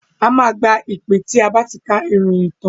A máa gba ìpè tí a bá ti ka ìròyìn tán.